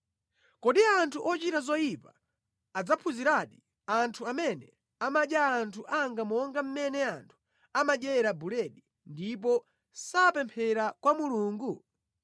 Kodi anthu ochita zoyipawa adzaphunziradi; anthu amene amadya anthu anga monga mmene anthu amadyera buledi, ndipo sapemphera kwa Mulungu?